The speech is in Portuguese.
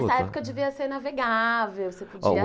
Nessa época devia ser navegável, você podia...